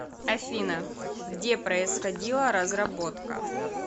афина где происходила разработка